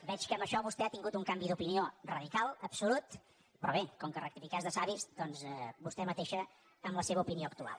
veig que en això vostè ha tingut un canvi d’opinió radical absolut però bé com que rectificar és de savis doncs vostè mateixa amb la seva opinió actual